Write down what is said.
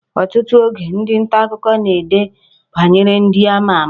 Ọtụtụ oge, ndị nta akụkọ na-ede banyere ndị a ma ama